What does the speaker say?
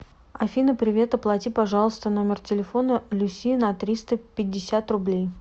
афина привет оплати пожалуйста номер телефона люси на триста пятьдесят рублей